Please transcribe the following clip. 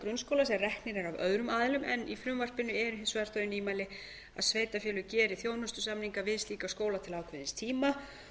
grunnskóla sem reknir eru af öðrum aðilum en í frumvarpinu eru hins vegar þau nýmæli um að sveitarfélög geri þjónustusamninga við slíka skóla til ákveðins tíma